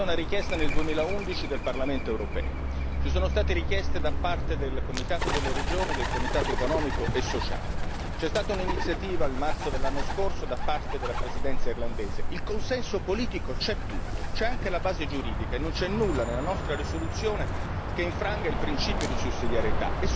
C'è stata una richiesta del Parlamento europeo nel 2011, ci sono state richieste da parte del Comitato delle regioni e del Comitato economico e sociale, c'è stata un'iniziativa nel marzo dell'anno scorso da parte della Presidenza irlandese il consenso politico c'è tutto, c'è anche la base giuridica, e non c'è nulla nella nostra risoluzione che infranga il principio di sussidiarietà.